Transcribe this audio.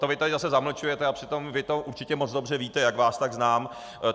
To vy tady zase zamlčujete, a přitom vy to určitě moc dobře víte, jak vás tak znám.